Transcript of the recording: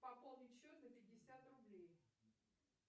пополнить счет на пятьдесят рублей